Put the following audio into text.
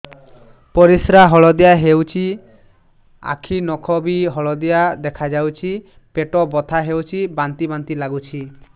ପରିସ୍ରା ହଳଦିଆ ହେଉଛି ଆଖି ନଖ ବି ହଳଦିଆ ଦେଖାଯାଉଛି ପେଟ ବଥା ହେଉଛି ବାନ୍ତି ବାନ୍ତି ଲାଗୁଛି